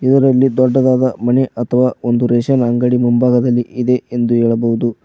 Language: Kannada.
ಇದರಲ್ಲಿ ದೊಡ್ಡದಾದ ಮನೆ ಅಥವಾ ಒಂದು ರೇಷನ್ ಅಂಗಡಿ ಮುಂಭಾಗದಲ್ಲಿ ಇದೆ ಎಂದು ಹೇಳಬಹುದು.